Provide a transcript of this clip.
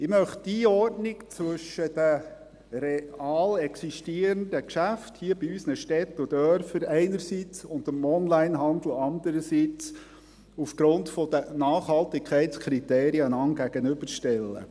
Ich möchte die Einordnung zwischen den real existierenden Geschäften hier in unseren Städten und Dörfern einerseits und dem Onlinehandel andererseits einander aufgrund der Nachhaltigkeitskriterien gegenüberstellen.